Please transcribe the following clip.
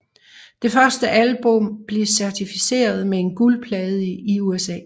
Det første album blev certificeret med en guldplade i USA